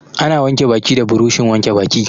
Ana wanke baki da buroshin wanke baki.